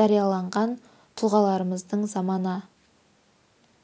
жарияланған тұлғаларымыздың замана